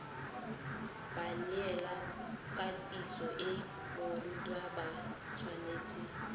baneelakatiso le barutwana ba tshwanetse